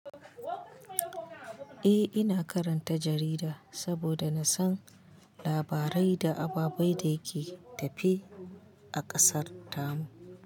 Eh, ina karanta jarida saboda na san labarai da ababen da ke tafe a ƙasarta mu.